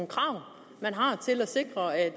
krav man har til at sikre at